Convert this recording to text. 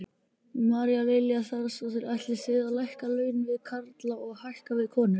María Lilja Þrastardóttir: Ætlið þið að lækka laun við karla og hækka við konur?